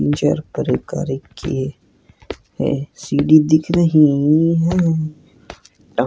तीन चार किए है सीढ़ी दिख रही है।